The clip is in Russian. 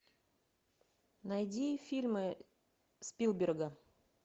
найди фильмы спилберга